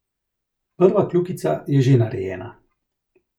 Prva kljukica je že narejena.